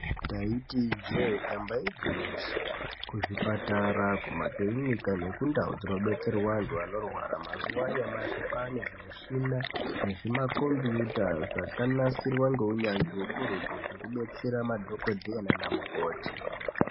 Ndaiti njee damba igwinyiso kuzvi patara kumakirinika nekundawu dzinobetserwa wandu wanorwara mazuva anyamashi kwaane zvimushina nezvima kombuta zvakanasirwa ngowunyanzvi wokurutu zvekubetsera madhokoteya nanamukoti.